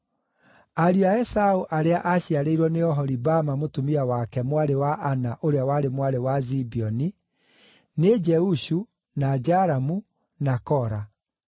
Ariũ a Esaũ arĩa aaciarĩirwo nĩ Oholibama mũtumia wake mwarĩ wa Ana ũrĩa warĩ mwarĩ wa Zibeoni: nĩ Jeushu, na Jalamu, na Kora.